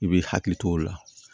I b'i hakili t'o la